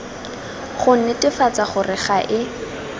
go netefatsa gore ga e